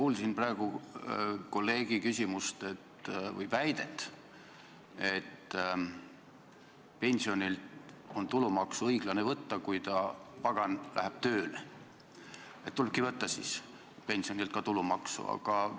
Ma kuulsin praegu kolleegi väidet, et pensionilt on õiglane tulumaksu võtta, et kui ta, pagan, läheb tööle, siis tulebki pensionilt ka tulumaksu võtta.